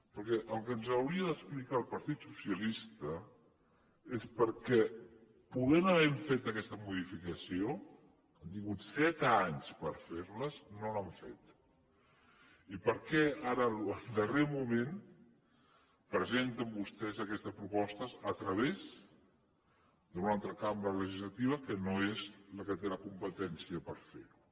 perquè el que ens hauria d’explicar el partit socialista és perquè podent haver fet aquesta modificació han tingut set anys per fer la no l’han feta i per què ara en el darrer moment presenten vostès aquesta proposta a través d’una altra cambra legislativa que no és la que té la competència per fer ho